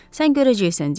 Sən görəcəksən, Dik.